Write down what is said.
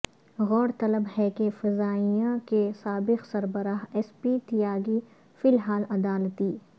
غور طلب ہے کہ فضائیہ کے سابق سربراہ ایس پی تیاگی فی الحال عدالتی